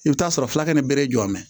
I bɛ t'a sɔrɔ fila kɛ ni bere jɔ ye